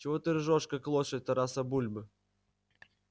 чего ты ржёшь как лошадь тараса бульбы